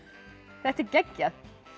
þetta er geggjað